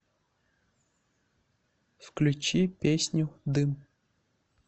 включи песню дым